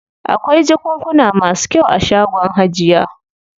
Akwai jakunkuna masu kyau a shagon hajiya.